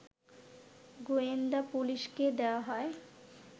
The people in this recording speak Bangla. গোয়েন্দা পুলিশকে দেয়া হয়